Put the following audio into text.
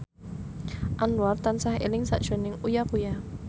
Anwar tansah eling sakjroning Uya Kuya